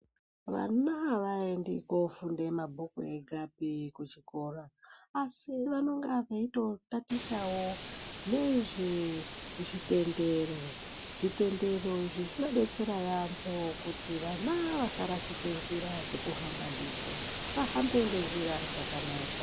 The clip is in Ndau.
Vana avaendi kofunda mabhuku egapi kuchikora asi vanonga veito tatichawo nezve zvitendero zvitendero izvi zvinodetsera yaambo kuti vana vasarashika njira dzekuhamba ndidzo vahambe nenjira dzakanaka.